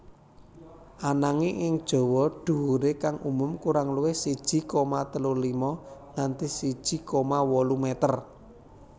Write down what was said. Ananging ing Jawa dhuwure kang umum kurang luwih siji koma telu lima nganti siji koma wolu meter